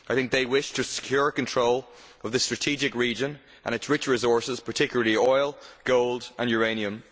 I think they wish to secure control of this strategic region and its rich resources, particularly oil, gold and uranium.